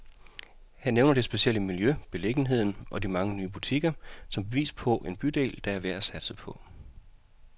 Han nævner det specielle miljø, beliggenheden og de mange nye butikker, som et bevis på en bydel, der er værd at satse på.